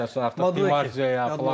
Məsəl üçün artıq Di Marziya filan.